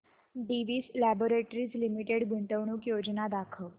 Divi's laboratories limited गुंतवणूक योजना दाखव